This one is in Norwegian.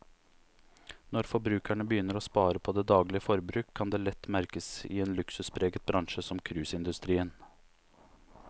Når forbrukerne begynner å spare på det daglige forbruk, kan det lett merkes i en luksuspreget bransje som cruiseindustrien.